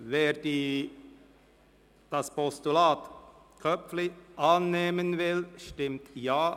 Wer das Postulat annehmen will, stimmt Ja,